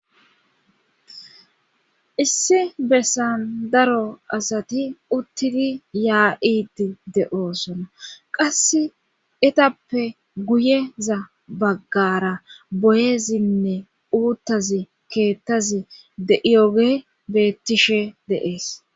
issi bessan daro asati uttidi yaa7iti de7oosona qasse etappe guyeza baggara boyezinne uuttazi keettazi deiyoge beettishe deees